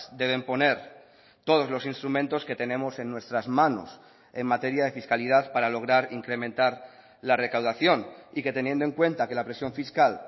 deben poner todos los instrumentos que tenemos en nuestras manos en materia de fiscalidad para lograr incrementar la recaudación y que teniendo en cuenta que la presión fiscal